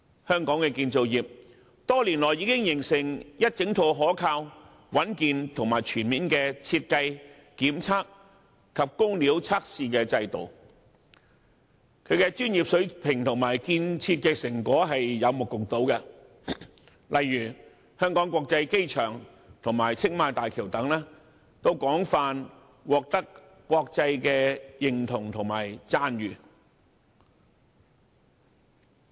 香港的建造業多年來已發展出一整套可靠、穩健而全面的設計、檢測及工料測試制度，其專業水平及建設成果有目共睹，例如香港國際機場及青馬大橋均廣泛獲得國際認同和讚譽。